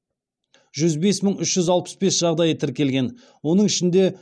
жүз бес мың үш жүз алпыс бес жағдайы тіркелген оның ішінде